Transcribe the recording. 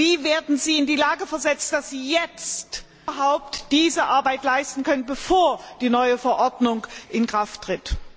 Wie werden sie in die Lage versetzt, dass sie jetzt überhaupt diese Arbeit leisten können, bevor die neue Verordnung in Kraft tritt?